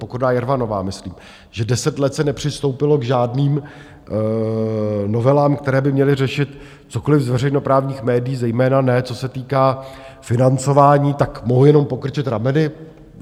Pokorná Jermanová, myslím - že deset let se nepřistoupilo k žádným novelám, které by měly řešit cokoli z veřejnoprávních médií, zejména ne co se týká financování, tak mohu jenom pokrčit rameny.